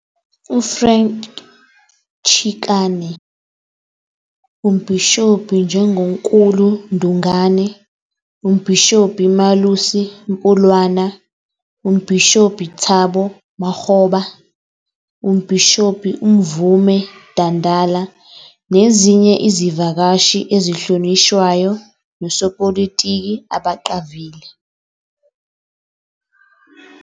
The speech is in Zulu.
UFrank Chikane, uMbhishobhi Njongonkulu Ndungane, uMbhishobhi Malusi Mpumlwana, uMbhishobhi Thabo Makgoba, uMbhishobhi uMvume Dandala nezinye izivakashi ezihlonishwayo nosopolitiki abaqavile.